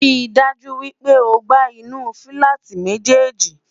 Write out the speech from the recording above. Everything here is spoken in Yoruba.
rí dájú wípé ọgbà inú filati méjèjì